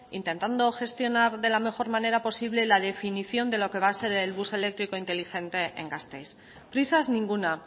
intentando gestionar de la mejor manera posible la definición de lo que va a ser el bus eléctrico inteligente en gasteiz prisas ninguna